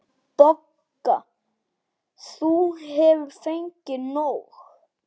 BOGGA: Þú hefur fengið nóg.